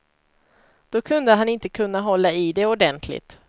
Då kunde han inte kunna hålla i det ordentligt.